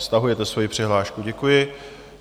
Stahujete svoji přihlášku, děkuji.